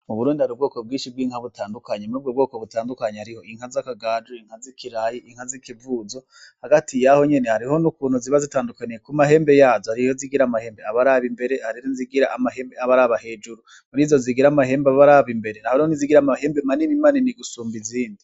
Mu Burundi hari ubwoko bwinshi bw'inka butandukanye, murubwo butandukanye harimwo inka zakagaju, inka zikirayi, inka zikivuzo, hagati yaho nyene hari ukuntu ziba zitandukanye kum'amahembe yazo hariyo izigira amahembe aba araba imbere, hari nizigira amahembe aba araba hejuru, murizo zigira amahembe aba araba imbere hari izigira amahembe manini manini gusumba izindi.